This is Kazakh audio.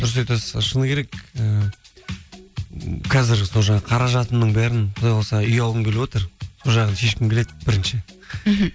дұрыс айтасыз ы шыны керек і қазір сол жағы қаражатымның бәрін құдай қаласа үй алғым келіп отыр сол жағын шешкім келеді бірінші мхм